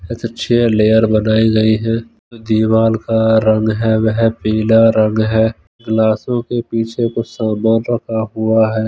इनसे छे लेयर बनाई गयी है दीवार का रंग है वह पिला रंग है ग्लासों के पीछे कुछ सामान रखा हुआ है।